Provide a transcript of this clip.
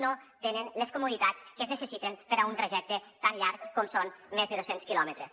no tenen les comoditats que es necessiten per a un trajecte tan llarg com són més de dos·cents quilòmetres